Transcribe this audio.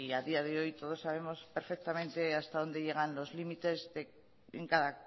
a día de hoy todos sabemos perfectamente hasta dónde llegan los límites en cada